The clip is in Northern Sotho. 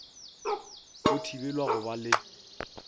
o thibelwa go ba le